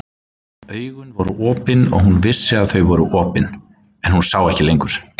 Augun voru opin og hún vissi að þau voru opin, en hún sá ekki lengur.